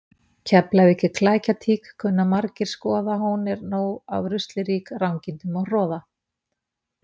Keflavík er klækjatík kunna margir skoða hún er nóg af rusli rík rangindum og hroða.